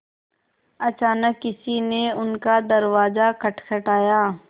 अचानक किसी ने उनका दरवाज़ा खटखटाया